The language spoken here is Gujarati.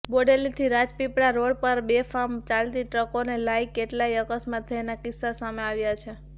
બોડેલીથી રાજપીપળા રોડ પાર બેફામ ચાલતી ટ્રકોને લાઇ કેટલાઇ અકસ્માત થયાના કિસ્સા સામે આવ્યા છે